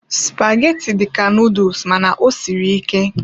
Spaghetti dị ka noodles mana ọ siri ike karị.